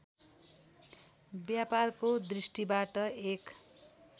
व्यापारको दृष्टिबाट एक